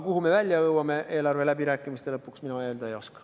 Aga seda, kuhu me eelarveläbirääkimiste lõpuks välja jõuame, mina öelda ei oska.